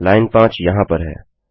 line 5 यहाँ पर है